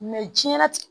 jiyɛn latigɛ